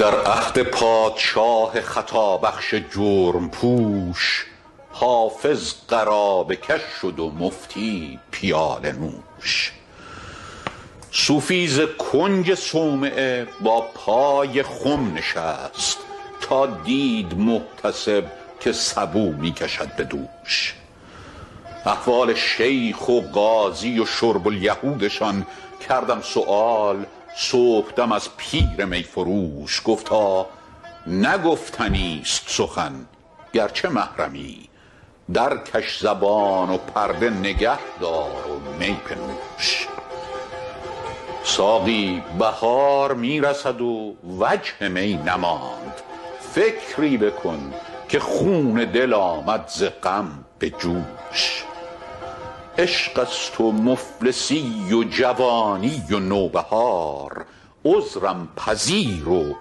در عهد پادشاه خطابخش جرم پوش حافظ قرابه کش شد و مفتی پیاله نوش صوفی ز کنج صومعه با پای خم نشست تا دید محتسب که سبو می کشد به دوش احوال شیخ و قاضی و شرب الیهودشان کردم سؤال صبحدم از پیر می فروش گفتا نه گفتنیست سخن گرچه محرمی درکش زبان و پرده نگه دار و می بنوش ساقی بهار می رسد و وجه می نماند فکری بکن که خون دل آمد ز غم به جوش عشق است و مفلسی و جوانی و نوبهار عذرم پذیر و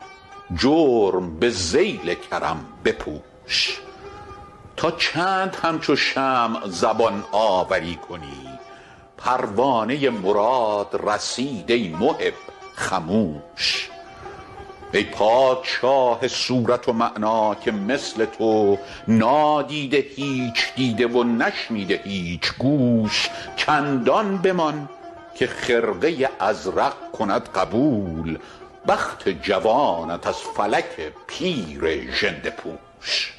جرم به ذیل کرم بپوش تا چند همچو شمع زبان آوری کنی پروانه مراد رسید ای محب خموش ای پادشاه صورت و معنی که مثل تو نادیده هیچ دیده و نشنیده هیچ گوش چندان بمان که خرقه ازرق کند قبول بخت جوانت از فلک پیر ژنده پوش